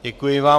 Děkuji vám.